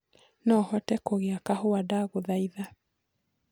no hote kugĩa kahũa ndagũthaitha